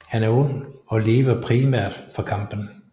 Han er ond og lever primært for kampen